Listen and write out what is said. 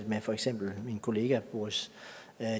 med for eksempel min kollega boris